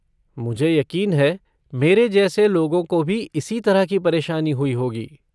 मुझे यकीन है मेरे जैसे लोगों को भी इसी तरह की परेशानी हुई होगी।